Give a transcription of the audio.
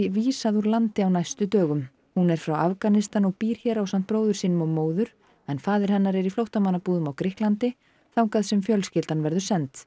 vísað úr landi á næstu dögum hún er frá Afganistan og býr hér ásamt bróður sínum og móður en faðir hennar er í flóttamannabúðum á Grikklandi þangað sem fjölskyldunni verður